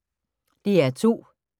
DR2